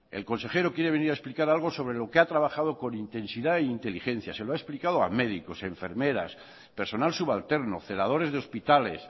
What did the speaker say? el consejero quiere venir a explicar algo sobre lo que ha trabajado con intensidad e inteligencia se lo ha explicado a médicos enfermeras personal subalterno celadores de hospitales